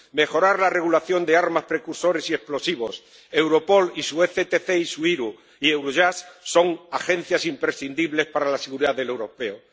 mejorar la regulación de armas, precursores y explosivos —Europol y su CELT y su UE IRU y Eurojust son agencias imprescindibles para la seguridad de los europeos—